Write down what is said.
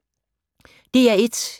DR1